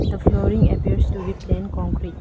the flooring appears to be plain concrete.